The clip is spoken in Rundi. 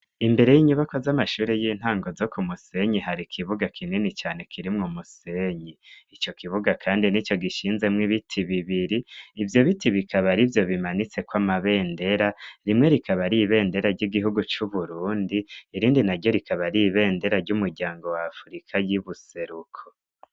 Imbere y'inyubakwa z'amashuri y'intango zo ku Musenyi hari kibuga kinini cane kirimwo umusenyi. Ico kibuga kandi nico gishinzemwo ibiti bibiri, ivyo biti bikaba arivyo bimanitseko amabendera, rimwe rikaba ari ibendera ry'igihugu c'Uburundi, irindi naryo rikaba ari ibendera ry'umuryango wa Afurika y'ubuseruko.